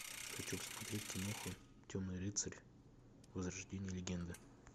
хочу посмотреть киноху темный рыцарь возрождение легенды